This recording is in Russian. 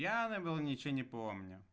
пьяный был ничего не помню